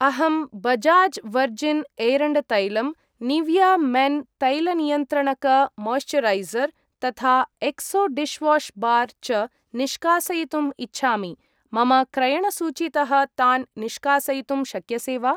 अहं बजाज् वर्जिन् एरण्डतैलम् , Nivea men तैलनियन्त्रणक मोयिस्चरैसर् तथा एक्सो डिश्वाश् बार् च निष्कासयितुम् इच्छामि, मम क्रयणसूचीतः तान् निष्कासयितुं शक्यसे वा?